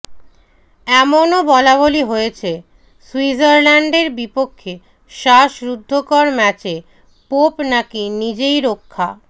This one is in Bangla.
এমনও বলাবলি হয়েছে সুইজারল্যান্ডের বিপক্ষে শ্বাসরুদ্ধকর ম্যাচে পোপ নাকি নিজেই রক্ষা